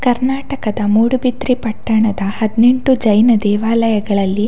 ಕರ್ನಾಡಕದ ಮೂಡುಬಿದ್ರೆ ಪಟ್ಟಣದ ಹದ್ನೆಂಟು ಜೈನ ದೇವಾಯಗಳಲ್ಲಿ--